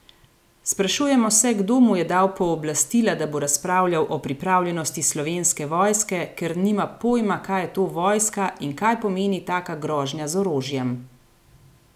Sprašujemo se, kdo mu je dal pooblastila, da bo razpravljal o pripravljenosti Slovenske vojske, ker nima pojma, kaj je to vojska in kaj pomeni taka grožnja z orožjem.